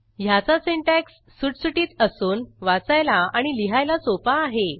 ह्याचा सिंटॅक्स सुटसुटीत असून वाचायला आणि लिहायला सोपा आहे